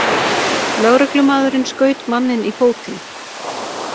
Lögreglumaðurinn skaut manninn í fótinn